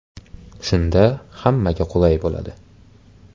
Shunda hammaga qulay bo‘ladi.